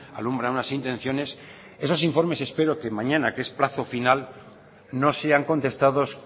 alumbra unas intenciones esos informes espero que mañana que es plazo final no sean contestados